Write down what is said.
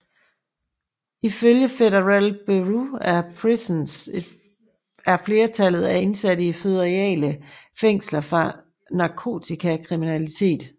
Ifølge Federal Bureau of Prisons er flertallet af indsatte i føderale fængsler for narkotikakriminalitet